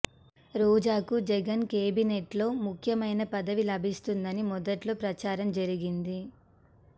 రోజాకు జగన్ కేబినెట్లో ముఖ్యమైన పదవి లభిస్తుందని మొదట్లో ప్రచారం జరిగింది